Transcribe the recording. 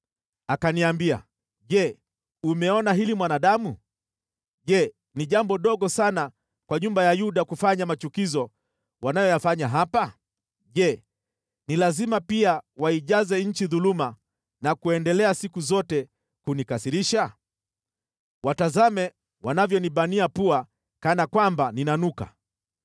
Akaniambia, “Je, umeona hili mwanadamu? Je, ni jambo dogo sana kwa nyumba ya Yuda kufanya machukizo wanayoyafanya hapa? Je, ni lazima pia waijaze nchi dhuluma na kuendelea siku zote kunikasirisha? Watazame wanavyonibania pua kana kwamba ninanuka!